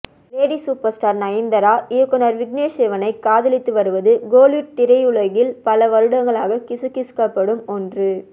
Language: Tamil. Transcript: லேடி சூப்பர் ஸ்டார் நயன்தாரா இயக்குனர் விக்னேஷ் சிவனை காதலித்து வருவது கோலிவுட் திரையுலகில் பல வருடங்களாக கிசுகிசுக்கப்படும் ஒன்று